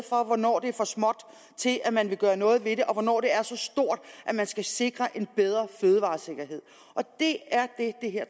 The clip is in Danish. for hvornår det er for småt til at man vil gøre noget ved det og hvornår det er så stort at man skal sikre en bedre fødevaresikkerhed det er det det her